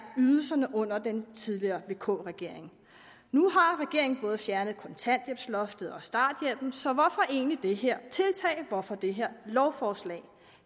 ydelserne under den tidligere vk regering nu har regeringen fået fjernet kontanthjælpsloftet og starthjælpen så hvorfor egentlig det her tiltag hvorfor det her lovforslag